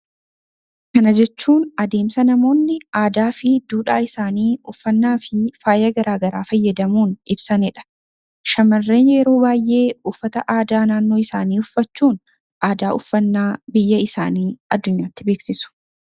Kana jechuun adeemsa namoonni aadaa fi duudhaa isaanii uffannaa fi faayaa garaagaraa fayyadamuun ibsatanidha. Shamarran yeroo baay'ee uffata aadaa naannoo isaanii uffachuun aadaa uffannaa biyya isaanii addunyaatti beeksisu.